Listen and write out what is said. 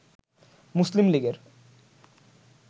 মুসলিম লীগের